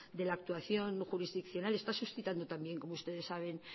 de la actuación jurisdiccional está suscitando también como ustedes saben